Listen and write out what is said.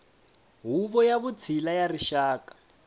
huvo ya vutshila ya rixaka